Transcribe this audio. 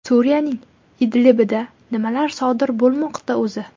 Suriyaning Idlibida nimalar sodir bo‘lmoqda o‘zi?